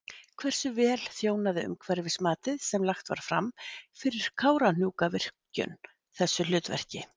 Hversu vel þjónaði umhverfismatið sem lagt var fram fyrir Kárahnjúkavirkjun þessu hlutverki?